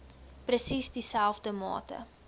presies dieselfde mate